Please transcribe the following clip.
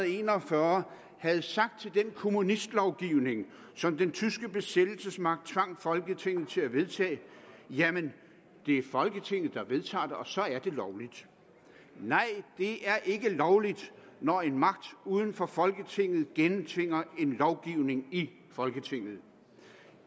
en og fyrre havde sagt til den kommunistlovgivning som den tyske besættelsesmagt tvang folketinget til at vedtage jamen det er folketinget der vedtager det og så er det lovligt nej det er ikke lovligt når en magt uden for folketinget gennemtvinger en lovgivning i folketinget